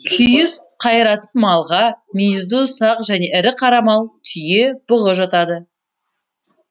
күйіс қайыратын малға мүйізді ұсақ және ірі қара мал түйе бұғы жатады